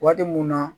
Waati mun na